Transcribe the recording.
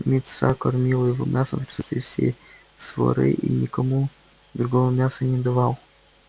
мит са кормил его мясом в присутствии всей своры и никому другому мяса не давал